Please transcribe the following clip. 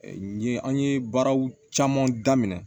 N ye an ye baaraw caman daminɛ